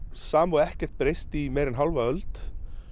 sama og ekkert breyst í hálfa öld